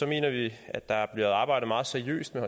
mener vi at der er blevet arbejdet meget seriøst med